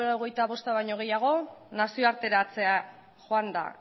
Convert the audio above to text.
laurogeita bosta baino gehiago nazioarteratzera joan da